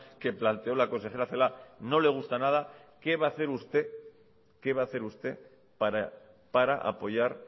que planteó la consejera celaá no le gusta nada qué va a hacer usted qué va a hacer usted para apoyar